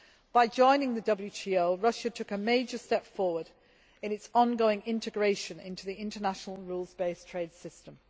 By joining the WTO, Russia took a major step forward in its ongoing integration into the international rules based trade system.